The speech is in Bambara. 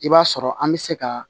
I b'a sɔrɔ an bɛ se ka